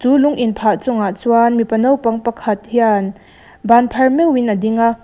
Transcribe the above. lung inphah chungah chuan mipa naupang pakhat hian banphar meuhin a ding a.